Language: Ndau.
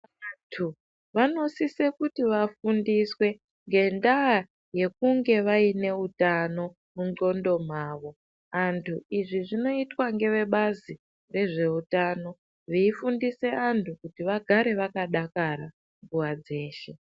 Antu vanosisa kuti vafundiswe ngendaa yekunge vaine utano mundxondo mavo. Antu izvi zvinotwe ngevebazi rezveutano veifundisa antu kuti vagare vakadakara nguva dzeshe.